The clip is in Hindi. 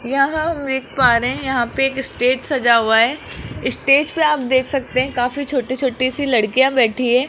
यह हम देख पा रहे हैं यहां पे एक स्टेज सजा हुआ है स्टेज पे आप देख सकते हैं काफी छोटी-छोटी सी लड़कियां बैठी है।